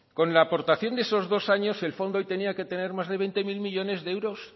con la aportación de esos dos años el fondo hoy tenía que tener más de veinte mil millónes de euros